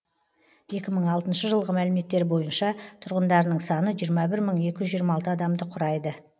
екі мың алтыншы жылғы мәліметтер бойынша тұрғындарының саны жиырма бір мың екі жүз жиырма алты адамды құрайды